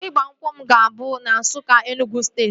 Ịgba nkwụ m ga-abụ na Nsukka, Enugwu steeti